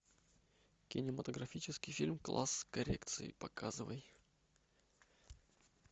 кинематографический фильм класс коррекции показывай